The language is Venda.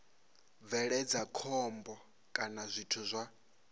bveledza khombo kana zwithu zwa